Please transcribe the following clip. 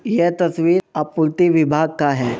यह तस्वीर आपूर्ति विभाग का है।